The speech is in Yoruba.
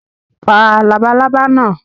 Pa labalábá náà!